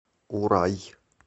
урай